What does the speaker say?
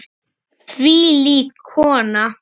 Þvílík kona.